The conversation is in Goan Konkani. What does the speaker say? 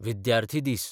विद्यार्थी दीस